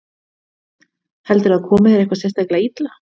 Þórhildur: Heldurðu að það komi þér eitthvað sérstaklega illa?